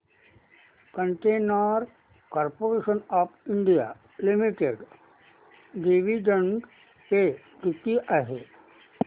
container Corporation of India Limited dividend pay किती आहे